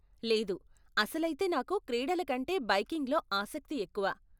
లేదు, అసలైతే నాకు క్రీడల కంటే బైకింగ్లో ఆసక్తి ఎక్కువ.